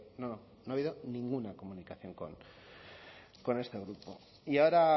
no no no ha habido ninguna comunicación con este grupo y ahora